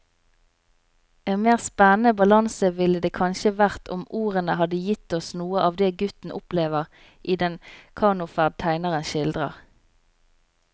En mer spennende balanse ville det kanskje vært om ordene hadde gitt oss noe av det gutten opplever i den kanoferd tegneren skildrer.